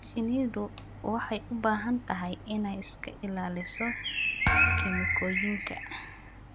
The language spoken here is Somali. Shinnidu waxay u baahan tahay inay iska ilaaliso kiimikooyinka.